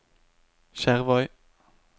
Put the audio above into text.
Skjervøy